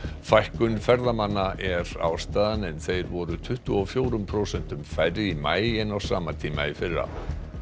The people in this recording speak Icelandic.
fækkun ferðamanna er ástæðan en þeir voru tuttugu og fjórum prósentum færri í maí en á sama tíma í fyrra